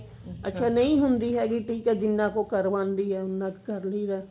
ਅੱਛਾ ਨਹੀ ਹੁੰਦੀ ਹੈਗੀ ਜਿੰਨਾ ਕੁ ਉਹ ਕਰਵਾਉਂਦੀ ਹੈ ਉੰਨਾ ਕੁ ਕਰ ਲਈਦਾ